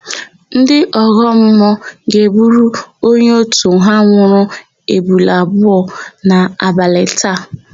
Ndị ọgọmmụọ ga-egburu onye òtù ha nwụrụ ebule abụọ n'abalị taa.